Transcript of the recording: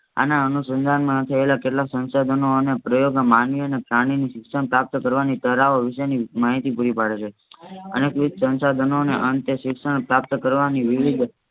આના અનુશન્ધાન માં થયેલા કેટલાક સંસાધનો અને પ્રયોગના માનવી અને પ્રાણી ની શિક્ષણ પ્રાપ્ત કરવાની તરાહ વિશે ની માહિતીપૂરું પડે છે. અને વિવિધ સંસાધનોને અંતે શિક્ષણ પ્રાપ્ત કરવાની વિવિધ